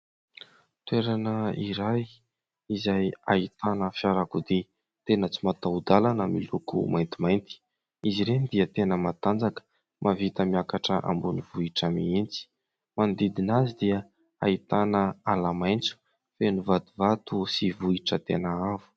Toerana iray izay ahitana fiarakodia tena tsy mataho-dalana miloko maintimainty ; izy ireny dia tena matanjaka ; mahavita miakatra ambonin'ny vohitra mihitsy. Manodidina azy dia ahitana ala maitso feno vatovato sy vohitra tena avo.